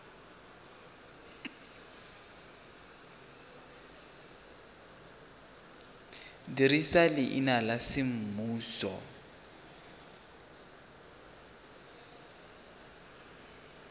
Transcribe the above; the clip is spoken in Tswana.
dirisa leina la semmuso le